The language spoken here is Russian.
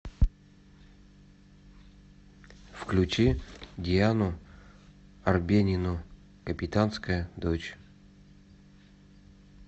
включи диану арбенину капитанская дочь